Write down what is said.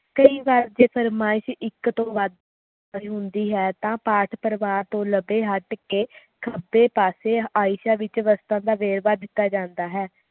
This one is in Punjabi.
ਕਈ ਵਾਰ ਇਹ ਫਰਮਾਇਸ਼ ਇਕ ਤੋਂ ਵੱਧ ਹੁੰਦੀ ਹੈ ਤਾ ਪਾਤ ਪਰਿਵਾਰ ਤੋਂ ਲਵੇ ਹੱਟ ਕੇ ਖੱਬੇ ਪਾਸੇ ਆਇਸ਼ਾ ਵਿਚ ਪੱਤਰ ਦਾ ਵੇਰਵਾ ਦਿੱਤਾ ਜਾਂਦਾ ਹੈ